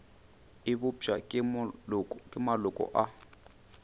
e bopša ke maloko a